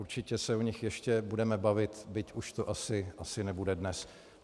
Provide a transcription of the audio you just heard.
Určitě se o nich ještě budeme bavit, byť už to asi nebude dnes.